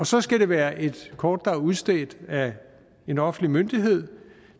så skal det være et kort der er udstedt af en offentlig myndighed